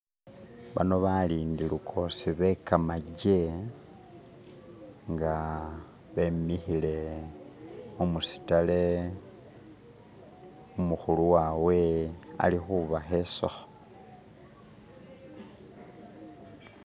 Bano balindi lukosi be gamagye nga bemikile kumusitale, umukulu wawe alikubashesako.